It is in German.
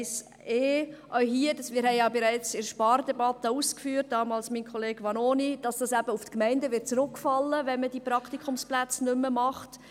Auch hier hatten wir bereits in der Spardebatte ausgeführt – das tat damals mein Kollege Vanoni –, dass es auf die Gemeinden zurückfallen wird, wenn man die Praktikumsplätze nicht mehr anbietet.